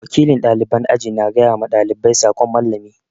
Wakilin ɗaliban aji na gaya ma ɗalibai sakon Mallami.